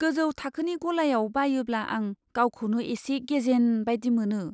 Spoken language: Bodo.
गोजौ थाखोनि गलायाव बायोब्ला आं गावखौनो एसे गेजेन बायदि मोनो।